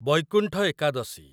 Baikuntha Ekadashi